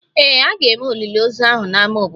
Ee, a ga-eme olili ozu ahụ n'ámá obodo